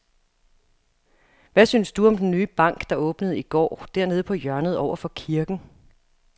Hvad synes du om den nye bank, der åbnede i går dernede på hjørnet over for kirken?